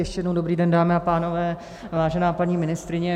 Ještě jednou dobrý den, dámy a pánové, vážená paní ministryně.